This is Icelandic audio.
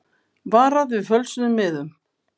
Varað við fölsuðum miðum